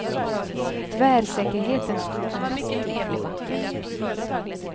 Tvärsäkerheten stod som spjut i backen.